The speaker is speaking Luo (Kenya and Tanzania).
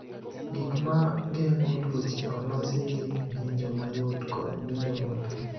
Gik ma geng’o tuoche olosi gi ng’injo mayot kod ng’injo mapek.